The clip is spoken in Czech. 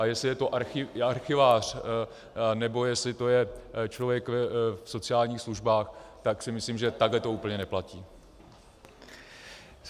A jestli je to archivář nebo jestli to je člověk v sociálních službách, tak si myslím, že takhle to úplně neplatí.